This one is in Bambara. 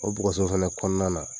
O kɔnɔna na.